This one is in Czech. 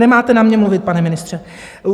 Nemáte na mě mluvit, pane ministře!